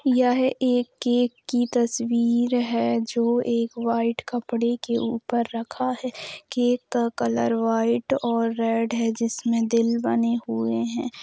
यह एक केक की तस्वीर है जो एक व्हाइट कपड़े के ऊपर रखा है केक का कलर व्हाइट और रेड है जिसमें दिल बने हुए हैं।